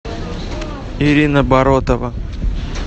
ирина баротова